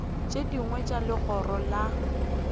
tše dingwe tša legoro la